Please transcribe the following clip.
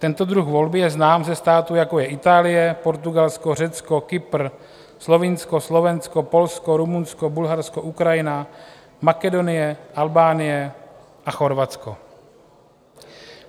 Tento druh volby je znám ze států, jako je Itálie, Portugalsko, Řecko, Kypr, Slovinsko, Slovensko, Polsko, Rumunsko, Bulharsko, Ukrajina, Makedonie, Albánie a Chorvatsko.